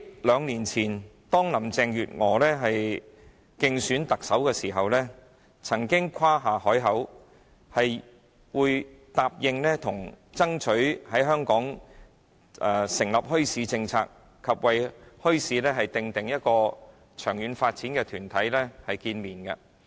兩年前，林鄭月娥在競選特首時誇下海口，答應會爭取在香港訂立墟市政策，並與為墟市訂定長遠發展的團體會面。